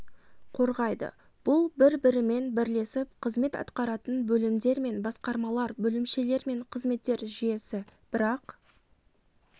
қорғайды бұл бір бірімен бірлесіп қызмет атқаратын бөлімдер мен басқармалар бөлімшелер мен қызметтер жүйесі бірақ